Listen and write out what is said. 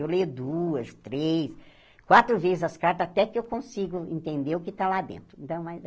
Eu leio duas, três, quatro vezes as cartas até que eu consigo entender o que está lá dentro. Então